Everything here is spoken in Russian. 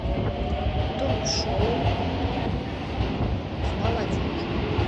ток шоу с молодежью